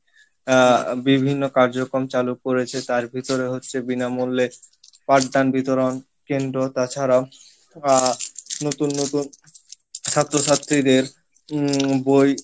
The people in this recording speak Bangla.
আহ বিভিন্ন কার্যক্রম চালু করেছে তার ভিতরে হচ্ছে বিনা মূল্যে পাঠদান বিতরন কেন্দ্র তাছারাও আহ নতুন নতুন ছাত্র ছাত্রীদের উম বই